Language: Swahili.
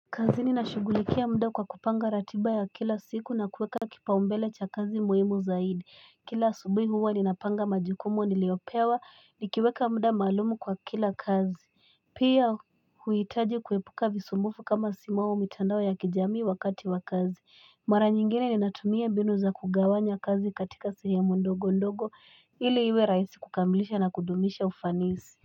Kazi nina shugulikia mda kwa kupanga ratiba ya kila siku na kuweka kipaumbele cha kazi muhimu zaidi Kila subi huwa ninapanga majikumo niliopewa nikiweka mda malumu kwa kila kazi Pia huitaji kuwepuka visumufu kama simao umitandao ya kijamii wakati wakazi Mara nyingine ninatumia binu za kugawanya kazi katika siri ya mondogo ndogo ili iwe raisi kukambilisha na kudumisha ufanisi.